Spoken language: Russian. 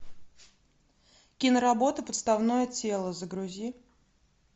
киноработа подставное тело загрузи